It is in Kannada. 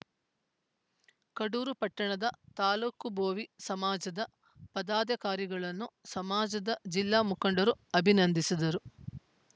ಕಡೂರು ಪಟ್ಟಣದ ತಾಲೂಕು ಭೋವಿ ಸಮಾಜದ ಪದಾಧಿಕಾರಿಗಳನ್ನು ಸಮಾಜದ ಜಿಲ್ಲಾ ಮುಖಂಡರು ಅಭಿನಂದಿಸಿದರು